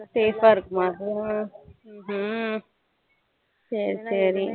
safe ஆ இருக்குமா அது ஹம் சரி சரி